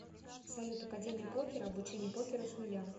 салют академия покера обучение покеру с нуля